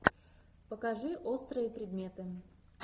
покажи острые предметы